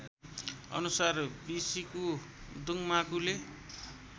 अनुसार विसिकु दुङमाकुले